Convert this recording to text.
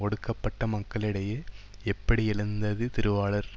ஒடுக்கப்பட்ட மக்களிடையே எப்படி எழுந்தது திருவாளர்